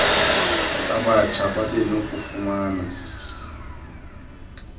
abatsha babe nokufumana